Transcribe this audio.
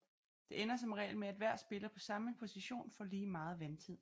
Det ender som regel med at hver spiller på samme position får lige meget vandtid